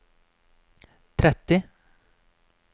tretti